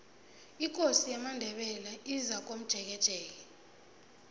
ikosi yamandebele izakomjekejeke